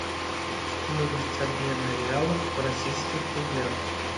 стоимость обмена реалов в российских рублях